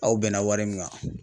Aw bɛnna wari min kan